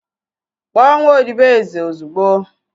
Kpọọ nwa odibo eze ozugbo!